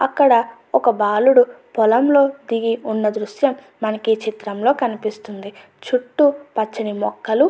అక్కడ ఒక బాలుడు పొలంలో దిగి ఉన్న దృశ్యం మనకి చిత్రంలో కనిపిస్తుంది చుట్టూ పచ్చని మొక్కలు --